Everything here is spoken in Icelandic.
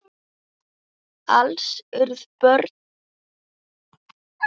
Alls urðu börn þeirra sjö.